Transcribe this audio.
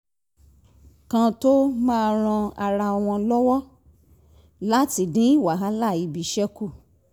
kan tó máa ń ran ara wọn lọ́wọ́ láti dín wàhálà ibiṣẹ́ kù